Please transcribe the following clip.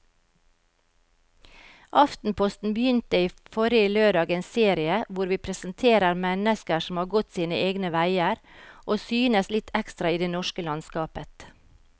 Aftenposten begynte forrige lørdag en serie hvor vi presenterer mennesker som har gått sine egne veier og synes litt ekstra i det norske landskapet.